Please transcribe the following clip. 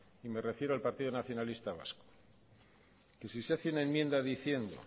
y me refiero al partido nacionalista vasco diciendo